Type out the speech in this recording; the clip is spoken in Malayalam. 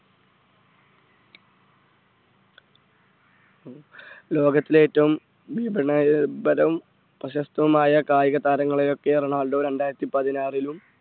ലോകത്തിലെ ഏറ്റവും പ്രശസ്തവുമായ കായിക താരങ്ങളെയൊക്കെ റൊണാൾഡോ രണ്ടായിരത്തി പതിനാറിലും